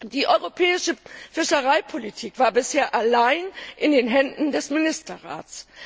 Die europäische Fischereipolitik war bisher allein in den Händen des Ministerrats.